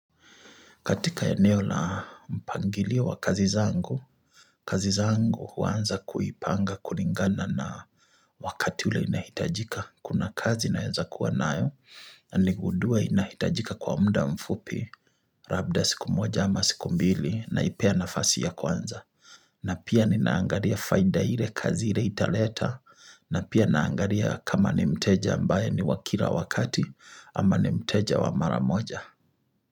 Katika eneo na mpangilio wa kazi zangu, kazi zangu huanza kuipanga kulingana na wakati ule inahitajika. Kuna kazi naeza kuwa nayo, na nigundue inahitajika kwa muda mfupi, labda siku moja ama siku mbili, naipea nafasi ya kwanza. Na pia ninaangalia faida ile kazi ile italeta, na pia naangalia kama ni mteja ambaye ni wa kila wakati, ama ni mteja wa mara moja.